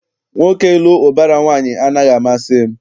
Nwoke ịlụ ụbara nwaanyị anaghị amasị m.